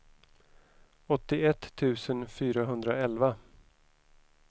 åttioett tusen fyrahundraelva